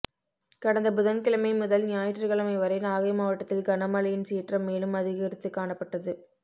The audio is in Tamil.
கடந்த புதன்கிழமை முதல் ஞாயிற்றுக்கிழமை வரை நாகை மாவட்டத்தில் கனமழையின் சீற்றம் மேலும் அதிகரித்துக் காணப்பட்டது